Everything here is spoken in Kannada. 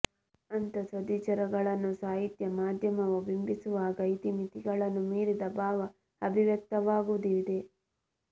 ಅಂಥ ಸದ್ವಿಚಾರಗಳನ್ನು ಸಾಹಿತ್ಯ ಮಾಧ್ಯಮವು ಬಿಂಬಿಸುವಾಗ ಇತಿಮಿತಿಗಳನ್ನು ಮೀರಿದ ಭಾವ ಅಭಿವ್ಯಕ್ತವಾಗುವುದಿದೆ